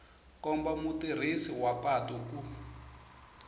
komba mutirhisi wa patu ku